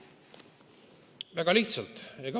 Väga lihtsalt.